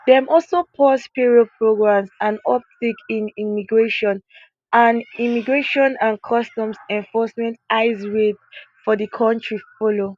dem also pause parole programmes and uptick in immigrations and immigrations and customs enforcement ice raids for di kontri follow